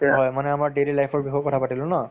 হয়, মানে আমাৰ daily life ৰ বিষয়েও কথা পাতিলো ন